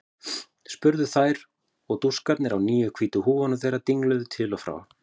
spurðu þær og dúskarnir á nýju hvítu húfunum þeirra dingluðu til og frá.